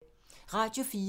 Radio 4